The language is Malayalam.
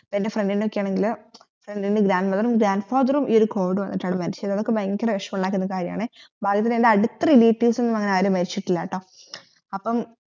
ൻറെ friend ണ്ടോക്കെയാണെകിൽ എന്നത് grandmother grand father covid വെന്നിട്ടാണ് മെരിച്ചത് അതൊക്കെ ഭയങ്കര വേഷമുണ്ടാകുന്ന കാര്യനേ അടുത്ത relatives ഒന്നുമാരും മെരിച്ചിട്ടില്ലാട്ടോ